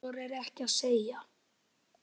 Þorir ekkert að segja.